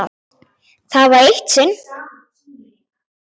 Það var eitt sinn.